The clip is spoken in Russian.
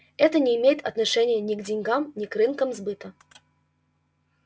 это не имеет отношения ни к деньгам ни к рынкам сбыта